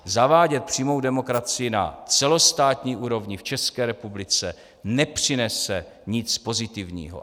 Zavádět přímou demokracii na celostátní úrovni v České republice nepřinese nic pozitivního.